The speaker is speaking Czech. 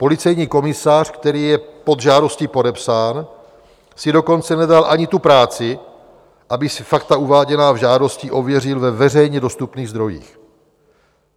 Policejní komisař, který je pod žádostí podepsán, si dokonce nedal ani tu práci, aby si fakta uváděná v žádosti ověřil ve veřejně dostupných zdrojích.